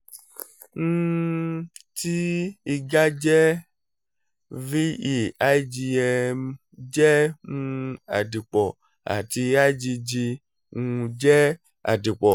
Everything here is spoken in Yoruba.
um tí iga jẹ́ -ve igm jẹ́ um àdìpọ̀ àti igg um jẹ́ àdìpọ̀